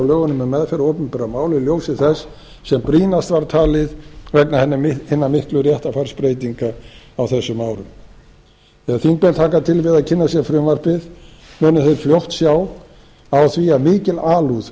lögunum um meðferð opinberra mála í ljósi þess sem brýnast var talið vegna hinnar miklu réttarfarsbreytinga á þessum árum þegar þingmenn taka til við að kynna sér frumvarpið munu þeir fljótt sjá á því að mikil alúð hefur verið